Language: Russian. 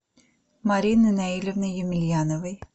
марины наилевны емельяновой